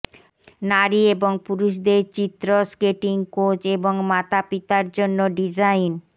নারী এবং পুরুষদের চিত্র স্কেটিং কোচ এবং মাতাপিতা জন্য ডিজাইন